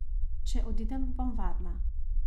Če odidem, bom varna.